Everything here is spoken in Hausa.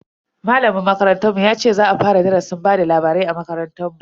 Malamin makarantar mu ya ce za a fara darasin bada labarai a makarantar.